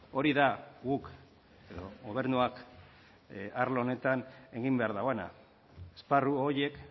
hori da guk gobernuak arlo honetan egin behar duena esparru horiek